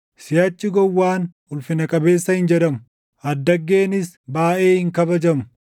Siʼachi gowwaan ulfina qabeessa hin jedhamu; addaggeenis baayʼee hin kabajamu.